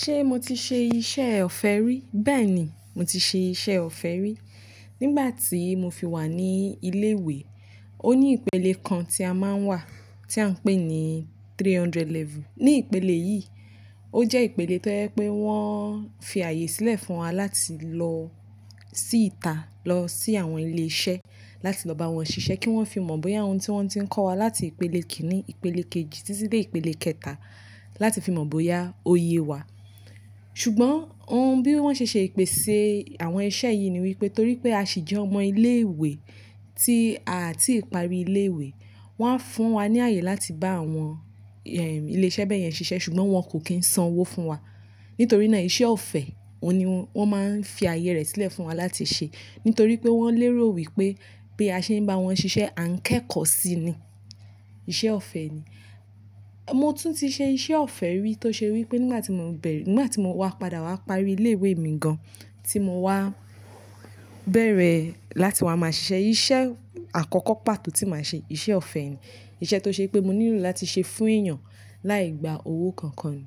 Ṣé mo ti ṣe iṣẹ́ ọ̀fẹ́ rí? Bẹ́ẹ̀ ni, mo ti ṣe iṣẹ́ ọ̀fẹ́ rí. Nígbà tí mo fi wà ní ilé ìwé, ó ní ìpele kan tí a máa ń wà tí a ń pè ní three hundred level. Ní ìpele yìí, ó jẹ́ ìpele tó jẹ́ pé wọ́n fi ààyè sílẹ̀ fún wa láti lọ sí ìta, lọ sí àwọn ilé iṣẹ́ láti lọ bá wọn ṣiṣẹ́ kí wọ́n fi mọ̀ bóyá ohun tí wọ́n ti ń kọ́ wa láti ìpele kìíní, ìpele kejì títí dé ìpele kẹta, láti fi mọ̀ bóyá ó yé wa. Ṣùgbọ́n ohun bí wọ́n ṣe ṣe ìpèsè àwọn iṣẹ́ yìí ni wí pé torí pé a sì jẹ́ ọmọ ilé ìwé tí a tí ìparí ilé ìwé, wọ́n á fún wa ní ààyè láti bá àwọn, ilé iṣẹ́ bẹ́ẹ̀ yẹn ṣiṣẹ́ ṣùgbọ́n wọn kò kí ń san owó fún wa. Nítorí náà iṣẹ́ ọ̀fẹ́, òun ni wọ́n máa ń fi ààyè rẹ̀ sílẹ̀ fún wa láti ṣe. Nítorí pé wọ́n lérò wí pé bí a ṣe ń bá wọn ṣiṣẹ́, a ń kẹ́kọ̀ọ́ sí i ni. Iṣẹ́ ọ̀fẹ́ ni. Mo tún ti ṣe iṣẹ́ ọ̀fẹ́ rí tó ṣe wí pé nígbà tí mo ń bẹ̀rẹ̀, nígbà tí mo wá padà wá parí ilé ìwé mi gan-an tí mo wá bẹ̀rẹ̀ láti wá máa ṣiṣẹ́, iṣẹ́ àkọ́kọ́ pàtó tí màá ṣe, iṣẹ́ ọ̀fẹ́ ni. Iṣẹ́ tó ṣe pé mo nílò láti ṣe fún èèyàn láì gba owó kankan ni.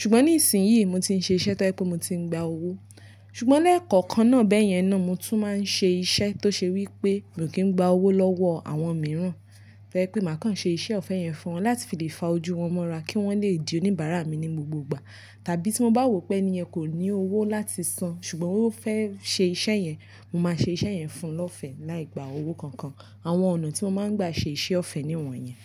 Ṣùgbọ́n ní ìsìn yìí mo ti ń ṣe iṣẹ́ tó jẹ́ pé mo ti ń gba owó. Ṣùgbọ́n lẹ́ẹ̀kọ̀kan náà bẹ́ẹ̀ yẹn náà mo tún máa ń ṣe iṣẹ́ tó ṣe wí pémi ò kí ń gba owó lọ́wọ́ àwọn mìíràn. Tí ó jẹ́ pé máa kan ṣe iṣẹ́ ọ̀fẹ́ yẹn fún wọn láti fi lè fa ojú wọn mọ́ra kí wọ́n lè di oníbàárà mi ní gbogbo ìgbà. Tàbí tí mo bá wò pé ènìyàn kò ní owó láti san ṣùgbọ́n ó fẹ́ ṣe iṣẹ́ yẹn, mo máa ṣe iṣẹ́ yẹn fún ẹ lọ́fẹ́ láì gba owó kankan. Àwọn ọ̀nà tí mo máa ń gbà ṣe iṣẹ́ ọ̀fẹ́ ni ìwọ̀n yẹn.